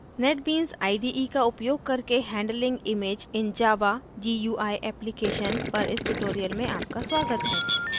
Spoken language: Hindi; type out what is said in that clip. netbeans ide का उपयोग करके handling images in a java gui application पर इस ट्यूटोरियल में आपका स्वागत है